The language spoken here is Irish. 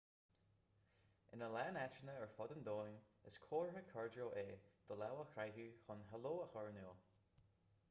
ina lán áiteanna ar fud an domhain is comhartha cairdiúil é do lámh a croitheadh chun heileo a chur in iúl